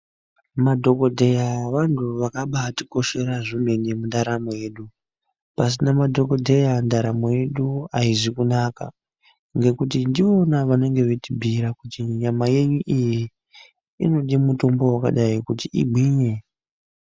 Madhokodheya vantu vakabaatikoshera zvemene mundaramo yedu. Pasina madhokodheya ndaramo yedu aizi kunaka, ngekuti ndiwona vanenge veitibhiira kuti nyama yenyu iyi ,inode mutombo wakadai kuti igwinye.